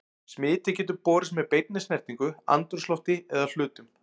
Smitið getur borist með beinni snertingu, andrúmslofti eða hlutum.